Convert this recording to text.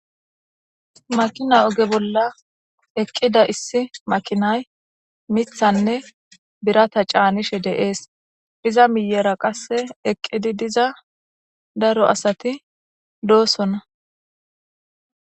makina oge bolla eqqida issi makinay mithanne birata caanishe deees iza miyera qasse eqqidi diza daro asati doosona